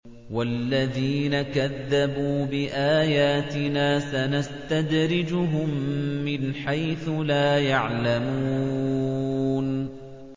وَالَّذِينَ كَذَّبُوا بِآيَاتِنَا سَنَسْتَدْرِجُهُم مِّنْ حَيْثُ لَا يَعْلَمُونَ